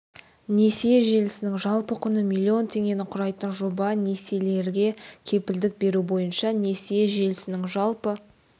несие желісінің жалпы құны миллион теңгені құрайтын жоба несиелерге кепілдік беру бойынша несие желісінің жалпы